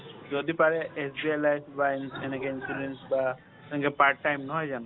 যদি পাৰে SBI life বা ইন এনেকে insurance বা এনেকে part time নহয় জানো,